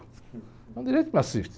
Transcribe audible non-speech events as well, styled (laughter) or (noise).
É um direito (unintelligible)